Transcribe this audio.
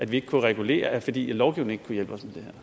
vi ikke kunne regulere fordi lovgivningen